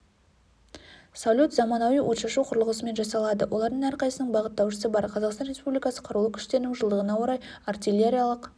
салют заманауи отшашу құрылғысымен жасалады олардың әрқайсының бағыттаушысы бар қазақстан республикасы қарулы күштерінің жылдығына орай артиллериялық